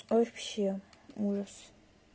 вообще ужас